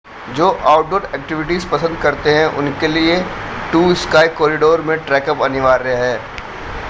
जो outdoor activities पसंद करते हैं उनके लिए टू स्काय कोरिडोर में ट्रैकअप अनिवार्य है